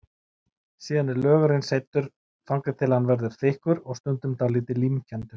Síðan er lögurinn seyddur, þangað til hann verður þykkur og stundum dálítið límkenndur.